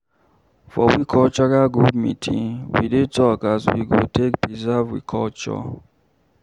For we cultural group meeting, we dey talk as we go take preserve we tradition.